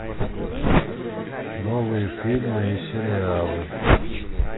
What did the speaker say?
новые фильмы и сериалы